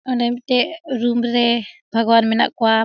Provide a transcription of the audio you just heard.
ओने मोटे रूम रहे भगवान मेना कोआप --